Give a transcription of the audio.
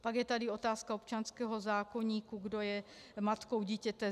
Pak je tady otázka občanského zákoníku, kdo je matkou dítěte.